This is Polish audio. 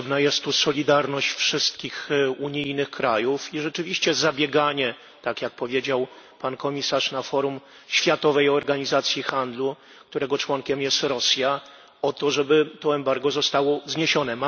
Potrzebna jest tu solidarność wszystkich krajów unijnych i rzeczywiście zabieganie tak jak powiedział pan komisarz na forum Światowej Organizacji Handlu, której członkiem jest Rosja o to, żeby embargo zostało zniesione.